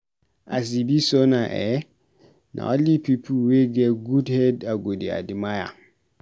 As e be so now eh, na only pipu wey get good head I go dey admire.